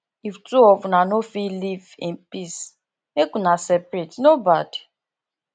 if two of una no fit live in peace make una separate e no bad